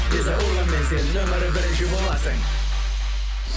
виза урбанмен сен нөмірі бірінші боласың